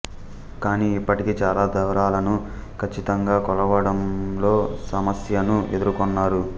కాని ఇప్పటికీ చాలా దూరాలను కచ్చితంగా కొలవడంలో సమస్యను ఎదుర్కొన్నారు